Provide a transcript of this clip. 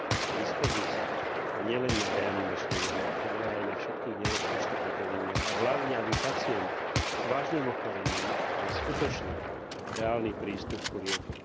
k dispozícii a nielen na reanimačnej jednotke, ale aj na všetkých nemocničných oddeleniach a hlavne, aby pacient s vážnym ochorením mal skutočný, reálny prístup ku liekom.